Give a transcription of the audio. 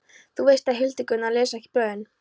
Þú veist að Hildigunnur les ekki blöðin.